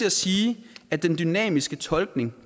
at sige at den dynamiske tolkning